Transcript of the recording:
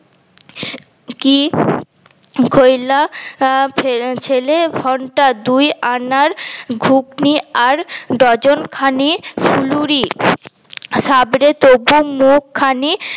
কি কি কইলা আঃ ছেলে ঘন্টা দুই আনার ঘুগনি আর ডজন খানি ফুলুরি সাবরে তবু মুখখানি